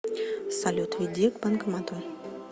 салют веди к банкомату